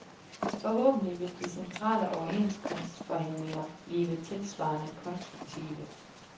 Forhåbentlig vil de centrale overenskomstforhandlinger blive tilsvarende konstruktive.